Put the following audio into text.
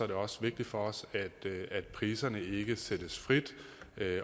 det også vigtigt for os at priserne ikke sættes frit